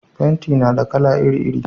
fenti na da kala iri iri